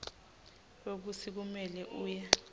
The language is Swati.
kwekutsi kumele uye